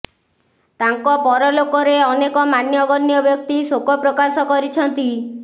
ତାଙ୍କ ପରଲୋକରେ ଅନେକ ମାନ୍ୟଗଣ୍ୟ ବ୍ୟକ୍ତି ଶୋକ ପ୍ରକାଶ କରିଛନ୍ତି